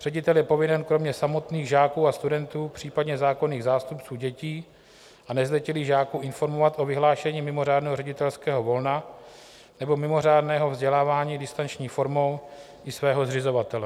Ředitel je povinen kromě samotných žáků a studentů, případně zákonných zástupců dětí a nezletilých žáků informovat o vyhlášení mimořádného ředitelského volna nebo mimořádného vzdělávání distanční formou i svého zřizovatele.